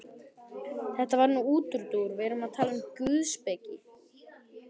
Þetta var nú útúrdúr, við erum að tala um guðspeki.